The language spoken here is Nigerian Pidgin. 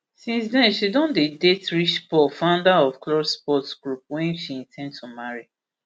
since den she don dey date rich paul founder of klutch sports group wey she in ten d to marry